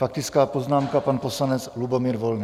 Faktická poznámka, pan poslanec Lubomír Volný.